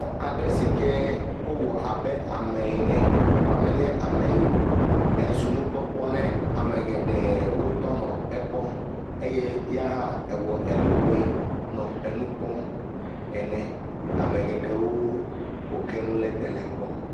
Xɔ aɖe si ke wòwɔ abe ame ene vɔ me nye ame ye o. Ezu nu kpɔkpɔ ne ame geɖe, wotɔ nɔ ekpɔm eye ya hã wɔ eɖokui le nu kpɔm ene. Ame geɖe le nu kpɔm ene.